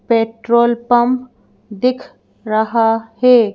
Petrol pump दिख रहा है।